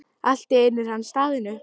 Allt í einu er hann staðinn upp.